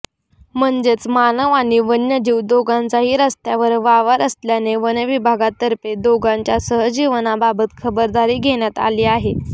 म्हणजेच मानव आणि वन्यजीव दोघांचाही रस्त्यावर वावर असल्याने वनविभागातर्फे दोघांच्या सहजीवनाबाबत खबरदारी घेण्यात आली आहे